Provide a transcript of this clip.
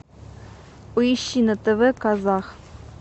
поищи на тв казах